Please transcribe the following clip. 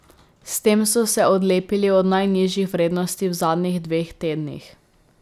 S tem so se odlepili od najnižjih vrednosti v zadnjih dveh tednih.